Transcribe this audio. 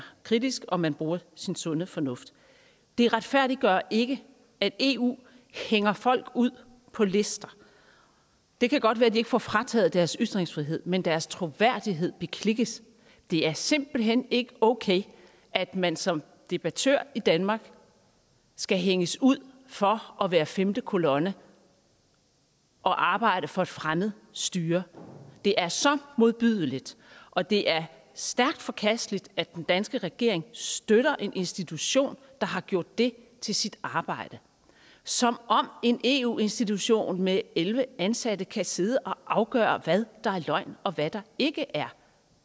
kritisk og man bruger sin sunde fornuft det retfærdiggør ikke at eu hænger folk ud på lister det kan godt være at de ikke får frataget deres ytringsfrihed men deres troværdighed beklikkes det er simpelt hen ikke okay at man som debattør i danmark skal hænges ud for at være femte kolonne og arbejde for et fremmed styre det er så modbydeligt og det er stærkt forkasteligt at den danske regering støtter en institution der har gjort det til sit arbejde som om en eu institution med elleve ansatte kan sidde og afgøre hvad der er løgn og hvad der ikke er